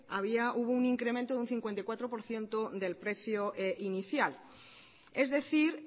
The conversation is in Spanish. había hubo un incremento de un cincuenta y cuatro por ciento del precio inicial es decir